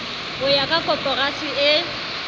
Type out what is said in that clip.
ho ya ka koporasi e